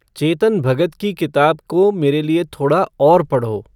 चेतन भगत की किताब को मेरे लिए थोड़ा और पढ़ो